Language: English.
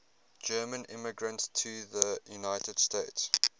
german immigrants to the united states